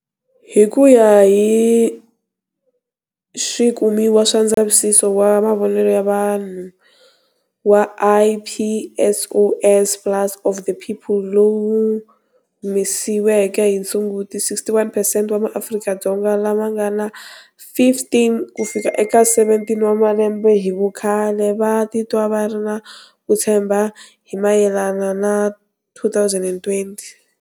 Hi ku ya hi swikumiwa swa ndzavisiso wa mavonelo ya vanhu wa Ipsos Pulse of the People lowu wu humesiweke hi Sunguti, 61perccent wa maAfrika-Dzonga lava nga na 15 kufika eka 17 wa malembe hi vukhale va titwa va ri na ku tshemba hi mayelana na 2020.